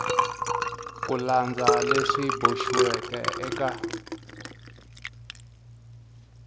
ku landza leswi boxiweke eka